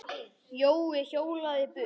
Jói hjólaði burt.